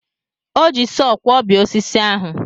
O ji sọọ kwọbie osisi ahụ.